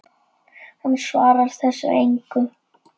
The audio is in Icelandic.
Hann svarar þessu engu.